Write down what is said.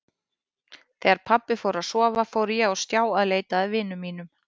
Þegar pabbi fór að sofa fór ég á stjá að leita að vinum mínum.